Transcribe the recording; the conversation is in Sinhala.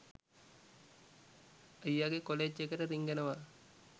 අයියා ගේ කොලෙජ් එකට රිංගනවා